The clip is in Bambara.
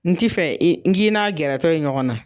N ti fɛ n k'i n'a gɛrɛtɔ ye ɲɔgɔn na.